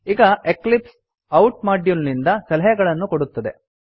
ಈಗ ಎಕ್ಲಿಪ್ಸ್ ಔತ್ ಮೊಡ್ಯುಲ್ ನಿಂದ ಸಲಹೆಗಳನ್ನು ಕೊಡುತ್ತದೆ